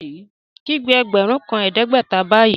Kígbe ẹgbẹ́run kan ẹdẹgbẹ̀tà báyì!